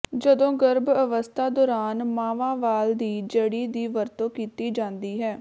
ਜਦੋਂ ਗਰਭ ਅਵਸਥਾ ਦੌਰਾਨ ਮਾਵਾਂਵਾਲ ਦੀ ਜੜੀ ਦੀ ਵਰਤੋਂ ਕੀਤੀ ਜਾਂਦੀ ਹੈ